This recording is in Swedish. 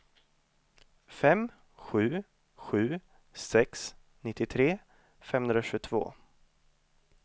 fem sju sju sex nittiotre femhundratjugotvå